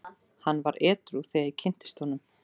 Hann var edrú þegar ég kynntist honum.